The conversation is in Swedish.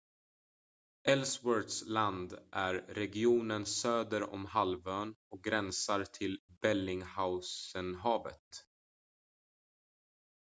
ellsworths land är regionen söder om halvön och gränsar till bellingshausenhavet